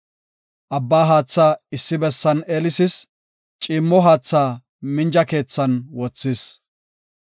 Abba haatha issi bessan eelisis; ciimmo haatha minja keethan wothis.